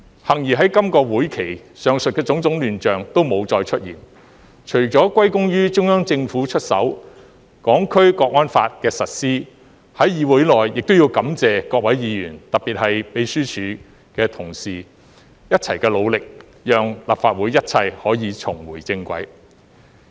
幸而在今個會期，上述的種種亂象都沒有再出現，除了歸功於中央政府出手，《香港國安法》的實施，在議會內亦要感謝各位議員特別是秘書處同事的一同努力，讓立法會一切可以重回正軌。